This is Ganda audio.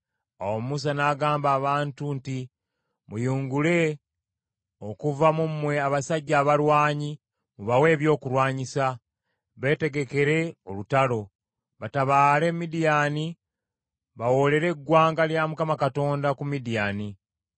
Awo Musa n’agamba abantu nti, “Muyungule okuva mu mmwe abasajja abalwanyi mubawe ebyokulwanyisa, beetegekere olutalo, batabaale Midiyaani bawoolere eggwanga lya Mukama Katonda ku Midiyaani.